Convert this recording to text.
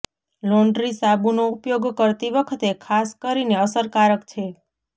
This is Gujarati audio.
લોન્ડ્રી સાબુનો ઉપયોગ કરતી વખતે ખાસ કરીને અસરકારક છે